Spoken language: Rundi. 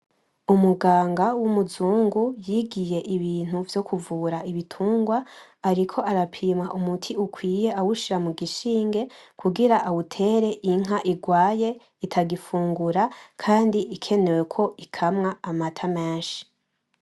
Umuganga w'umuzungu yigiye ibintu vyo kuvura ibitungwa ariko arapima umuti ukwiye awushira mu gishinge kugira awutere inka irwaye itagifungura kandi ikenewe ko ikamwa amata menshi.